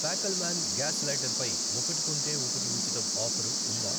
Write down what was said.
ఫ్యాకల్మాన్ gas lighter పై 'ఒకటి కొంటే ఒకటి ఉచితం' ఆఫరు ఉందా?